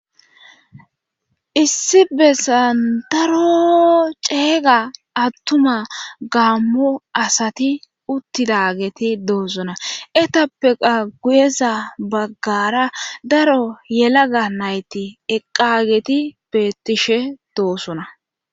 Issi bessan daro ceeyga attuma gaammo asati uttidageti doosona etappeqa guyeza baggara daro yelaga nayti eqqageti bettishe doosona.